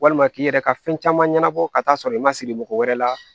Walima k'i yɛrɛ ka fɛn caman ɲɛnabɔ ka t'a sɔrɔ i ma siri mɔgɔ wɛrɛ la